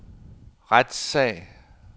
retssag